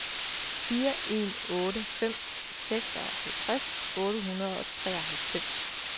fire en otte fem seksoghalvtreds otte hundrede og treoghalvfems